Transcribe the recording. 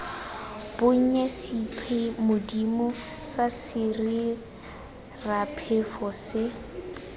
bonnye sephimodi sa sesiraphefo se